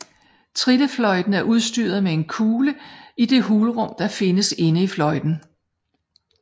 Trillefløjten er udstyret med en kugle i det hulrum der findes inde i fløjten